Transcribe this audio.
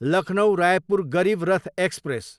Lucknow, Raipur Garib Rath express